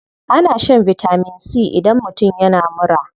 Ana shan vitamin c idan mutum yana mura.